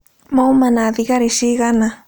Mauma na thigari cigana?